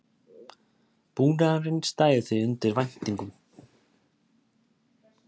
Búnaðurinn stæði því undir væntingum